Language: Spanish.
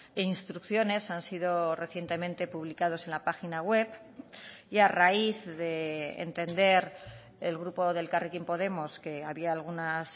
e instrucciones han sido recientemente publicados en la página web y a raíz de entender el grupo de elkarrekin podemos que había algunas